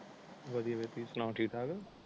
ਵਧਿਆ ਵਧਿਆ ਤੁਸੀਂ ਸੁਣਾਓ ਠੀਕ ਠਾਕ ਹੋ